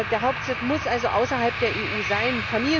Der Hauptsitz muss also außerhalb der EU sein.